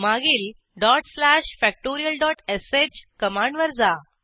मागील factorialsh कमांडवर जा